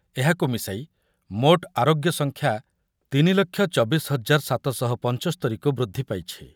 ଏହାକୁ ମିଶାଇ ମୋଟ୍ ଆରୋଗ୍ୟ ସଂଖ୍ୟା ତିନି ଲକ୍ଷ ଚବିଶି ହଜାର ସାତଶହ ପଞ୍ଚସ୍ତରୀ କୁ ବୃଦ୍ଧି ପାଇଛି।